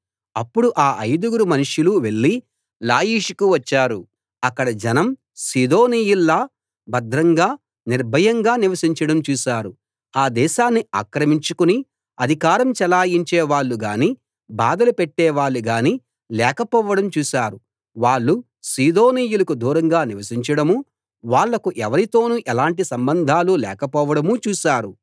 అప్పుడు ఆ ఐదుగురు మనుష్యులు వెళ్లి లాయిషుకు వచ్చారు అక్కడ జనం సీదోనీయుల్లా భద్రంగా నిర్భయంగా నివసించడం చూశారు ఆ దేశాన్ని ఆక్రమించుకుని అధికారం చెలాయించేవాళ్ళు గానీ బాధలు పెట్టేవాళ్ళు గానీ లేకపోవడం చూసారు వాళ్ళు సీదోనీయులకు దూరంగా నివసించడమూ వాళ్ళకు ఎవరితోనూ ఎలాంటి సంబంధాలు లేకపోవడమూ చూశారు